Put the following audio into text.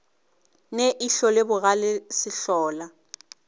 ne ihlo le bogale sehlola